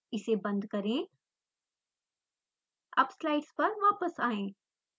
इसे बंद करें अब स्लाइड्स पर वापस आएं